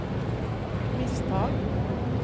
misstag